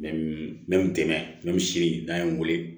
N bɛ n dɛmɛ n bɛ se n'a ye n wele